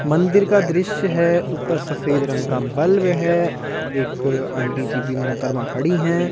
मंदिर का दृश्य है ऊपर सफेद रंग का बल्ब है एक आंटी जी भी मोहतरमा खड़ी हैं।